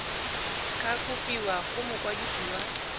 ka kopiwa go mokwadise wa